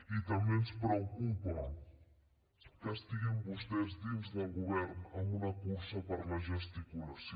i també ens preocupa que estiguin vostès dins del govern amb una cursa per la gesticulació